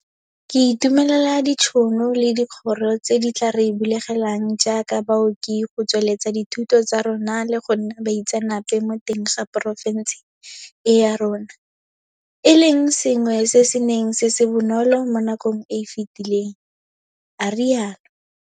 Ke itumelela ditšhono le dikgoro tse di tla re bulegelang jaaka baoki go tsweletsa dithuto tsa rona le go nna baitseanape mo teng ga porofešene e ya rona, e leng sengwe se se neng se se bonolo mo nakong e e fetileng, a rialo.